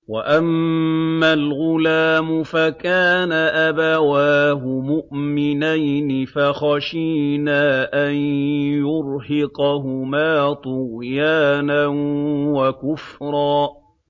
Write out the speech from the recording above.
وَأَمَّا الْغُلَامُ فَكَانَ أَبَوَاهُ مُؤْمِنَيْنِ فَخَشِينَا أَن يُرْهِقَهُمَا طُغْيَانًا وَكُفْرًا